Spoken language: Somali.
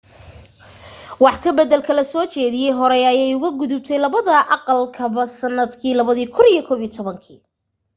wax ka baddalka la soo jeediyay horey ayay uga gudubtay labada aqalba sannadkii 2011